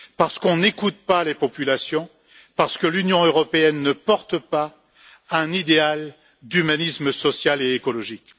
Parce qu'on n'écoute pas les populations, parce que l'Union européenne ne porte pas un idéal d'humanisme social et écologique.